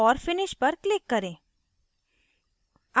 और finish पर click करें